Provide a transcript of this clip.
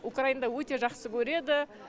украинада өте жақсы көреді